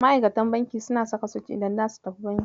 Ma'aikatan banki suna saka sut idan zasu tafi banki.